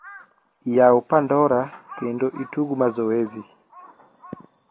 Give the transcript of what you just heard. yaw pandora kendo itug mazoezi